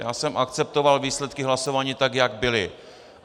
Já jsem akceptoval výsledky hlasování tak, jak byly.